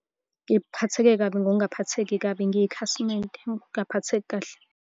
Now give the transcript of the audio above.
Ngiphatheke kabi ngokungaphatheki kabi ngiyikhasimende, ukungaphatheki kahle.